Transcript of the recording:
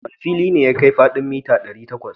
Wane fili ne ya kai faɗin mita ɗari takwas?